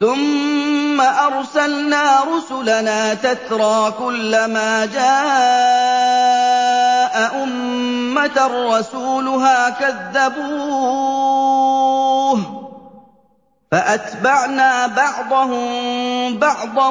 ثُمَّ أَرْسَلْنَا رُسُلَنَا تَتْرَىٰ ۖ كُلَّ مَا جَاءَ أُمَّةً رَّسُولُهَا كَذَّبُوهُ ۚ فَأَتْبَعْنَا بَعْضَهُم بَعْضًا